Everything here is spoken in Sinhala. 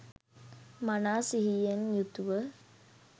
මනා සිහියෙන් යුතුව